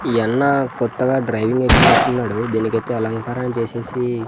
ఈ యన్నా కొత్తగా డ్రైవింగ్ ఎక్కినట్టున్నాడు దీని కైతే అలంకరణ చేసేసి--